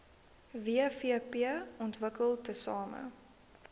wvp ontwikkel tesame